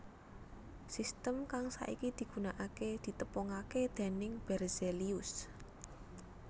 Sistem kang saiki digunakaké ditepungaké dèning Berzelius